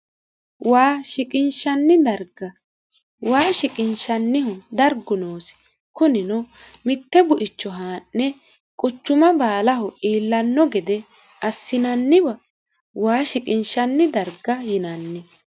waa siqiinishanni darga waa shiqinshannihu dargu noosi kunino mitte buicho haa'ne quchuma baalaho iillanno gede assinanniwa waa shiqinshanni darga yinanni